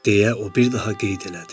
deyə o bir daha qeyd elədi.